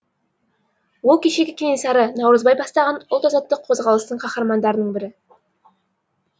ол кешегі кенесары наурызбай бастаған ұлт азаттық қозғалыстың қаһармандарының бірі